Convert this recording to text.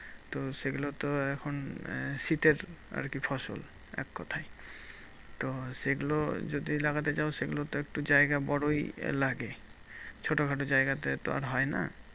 তো সেগুলোতে এখন আহ শীতের আরকি ফসল এককথায়। তো সেগুলো যদি লাগাতে চাও, সেগুলোতে একটু জায়গা বড়ই লাগে। ছোটোখাটো জায়গাতে তো আর হয়না?